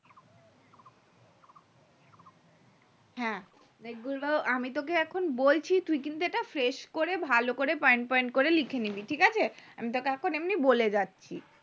হ্যাঁ এগুলো আমি তোকে এখন বলছি তুই কিন্তু fresh করে ভালো করে point point করে লিখে নিবি ঠিকআছে আমি তোকে এখন বলে যাচ্ছি